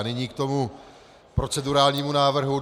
A nyní k tomu procedurálnímu návrhu.